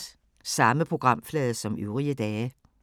Samme programflade som øvrige dage